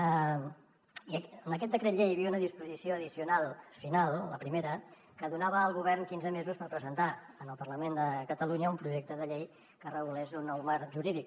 i en aquest decret llei hi havia una disposició addicional final la primera que donava al govern quinze mesos per presentar en el parlament de catalunya un projecte de llei que regulés un nou marc jurídic